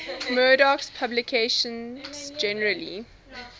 murdoch's publications generally